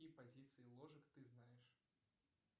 какие позиции ложек ты знаешь